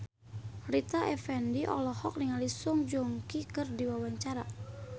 Rita Effendy olohok ningali Song Joong Ki keur diwawancara